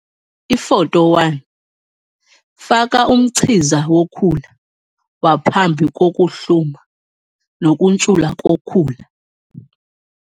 Ifoto 1- Faka umchiza wokhula waphambi kokuhluma nokuntshula kokhula.